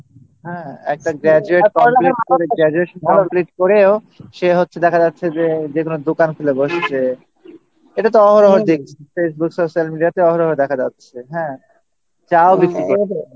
হ্যাঁ একটা graduation Complete করেও সে হচ্ছে দেখা যাচ্ছে যে যেগুলো দোকান খুলে বসছে এটা তো অহরহ দেখছি Social Media-তেই দেখা যাচ্ছে হ্যাঁ চা বিক্রি করছে